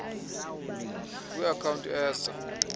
kwi account eza